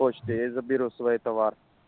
почтой я заберу свой товар